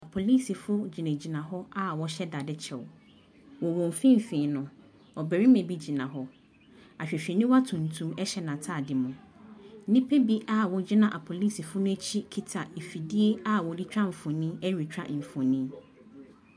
Polisifo gyina gyina hɔ aa wɔhyɛ daade kyɛw. Wɔ wɔnfinfiin no, ɔbɛrima bi gyina hɔ. Ahwehwɛniwa tuntum ɛhyɛ n'ataade mu. Nipa bi aa wogyina apolisifo n'akyi kita nfidie aa wɔde twa mfoni ɛretwa mfoni.